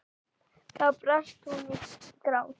Þá brast hún í grát.